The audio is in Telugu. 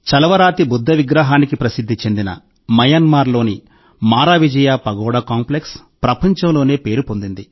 చలవరాతి బుద్ధ విగ్రహానికి ప్రసిద్ధి చెందిన మయన్మార్లోని మారావిజయ పగోడా కాంప్లెక్స్ ప్రపంచంలోనే పేరు పొందింది